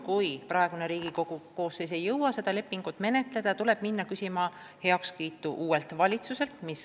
Kui praegune Riigikogu koosseis ei jõua seda lepingut ratifitseerida, tuleb minna heakskiitu küsima uuelt valitsuselt.